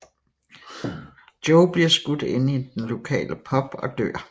Joe bliver skudt inde i den lokale pub og dør